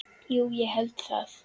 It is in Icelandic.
Jú ég held það.